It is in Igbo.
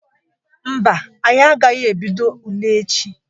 Mba, anyị agaghị ebido ule echi.